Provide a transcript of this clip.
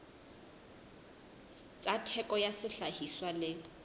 tsa theko ya sehlahiswa le